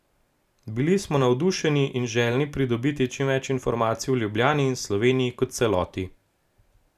Bili smo navdušeni in željni pridobiti čim več informacij o Ljubljani in Sloveniji kot celoti.